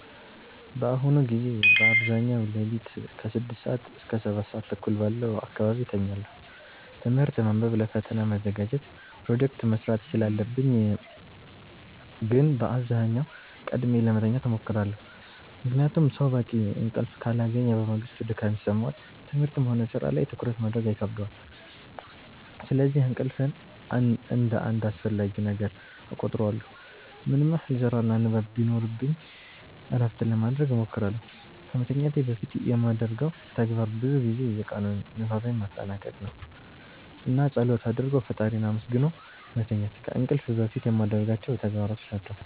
በአሁኑ ጊዜ በአብዛኛው ሌሊት ከ6 ሰዓት እስከ 7:30 ባለው አካባቢ እተኛለሁ። ትምህርት ማንበብ ለፈተና መዘጋጀት ፕሮጀክት መስራት ስላለብኝ ግን በአብዛኛው ቀድሜ ለመተኛት እሞክራለሁ። ምክንያቱም ሰው በቂ እንቅልፍ ካላገኘ በማግስቱ ድካም ይሰማዋል፣ ትምህርትም ሆነ ሥራ ላይ ትኩረት ማድረግ ይከብደዋል። ስለዚህ እንቅልፍን እንደ አንድ አስፈላጊ ነገር እቆጥረዋለሁ። ምንም ያህል ስራና ንባብ ቢኖርብኝ እረፍት ለማረግ እሞክራለሁ። ከመተኛቴ በፊት የማደርገው ተግባር ብዙ ጊዜ የቀኑን ንባቤን ማጠናቀቅ ነው። እና ፀሎት አርጎ ፈጣሪን አመስግኖ መተኛት ከእንቅልፍ በፊት የማረጋቸው ተግባሮች ናቸው።